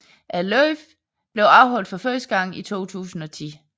Løbet blev afholdt for første gang i 2010